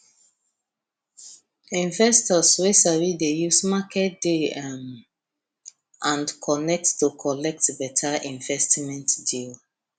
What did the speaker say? investors wey sabi dey use market day um and connect to collect better investment deal